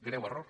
greu error